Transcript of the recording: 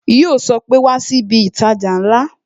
Yo sọ pé "Wá sí ibi itaja ńlá"